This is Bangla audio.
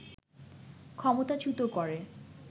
ক্ষমতাচ্যুত করে